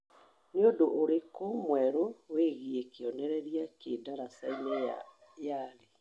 Nĩ ũndũ ũrĩkũ mwerũ wĩgiĩ kĩonereria ki ndaraca-inĩ ya nyali